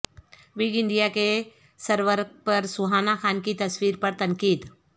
ووگ India کے سرورق پر سوہانہ خان کی تصویر پر تنقید